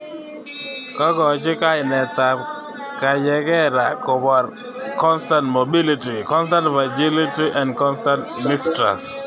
Kakochi kainetab Kayekera kobor ("Constant Mobility, Constant Vigility and Constant Mistrust).